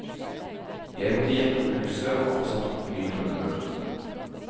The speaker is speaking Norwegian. Jeg måtte jekke opp huset og få satt opp ny grunnmur.